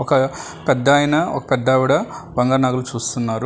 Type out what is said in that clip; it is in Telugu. ప పెద్దాయన ఒక పెద్దావిడ వందనాలు చూస్తున్నారు.